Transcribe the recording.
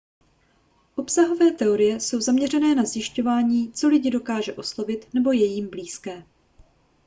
obsahové teorie jsou zaměřené na zjišťování co lidi dokáže oslovit nebo je jim blízké